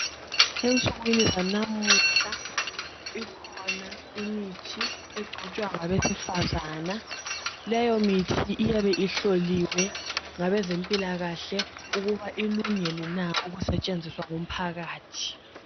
Ensukwini zanamuhla ikhona imithi egcotshwa ngabesifazana. Leyo mithi iyabe ihloliwe ngabezempilakahle ukuba ilungele na ukusetshenziswa ngumphakathi.